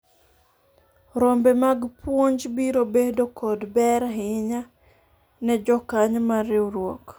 rombe mag puonj biro bedo kod ber ahinya ne jokanyo mar riwruok